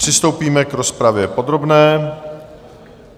Přistoupíme k rozpravě podobné.